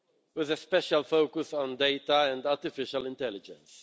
with a special focus on data and artificial intelligence.